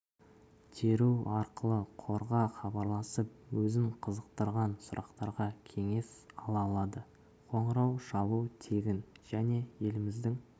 теру арқылы қорға хабарласып өзін қызықтырған сұрақтарға кеңес ала алады қоңырау шалу тегін және еліміздің